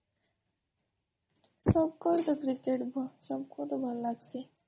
ସବକେ ତ କ୍ରୀକକେଟ ଭଲ୍ ଲାଗାସୀ